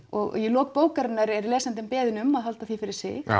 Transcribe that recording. og í lok bókar er lesandinn beðinn um að halda því fyrir sig